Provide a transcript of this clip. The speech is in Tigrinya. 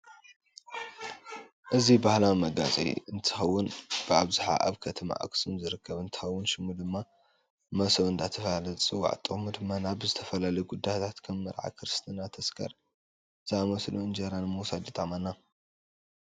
አዚ ባህላዊ መጋየፂ እንትከውን ብአብዛሓ አብ ከተማ አክሱም ዝርከብ እነትከውን ሹሙ ድማ መሰው እዳተባሃለ ዝፂዋዕ ጥቁሙ ድማ ናብ ዝተፈላለዩ ጉዳያት ከም መርዓ፣ ክርስትና፣ ተስካር ዘእምሰሉ እንጀራ ንምውሳድ ይጠቅመና።